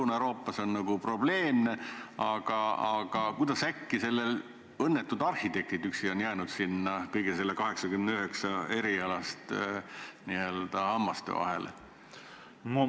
Lõuna-Euroopas on tunnustamisega nagu probleeme, aga kuidas äkki need õnnetud arhitektid üksi on jäänud kõigi nende 89 eriala juures hammasrataste vahele?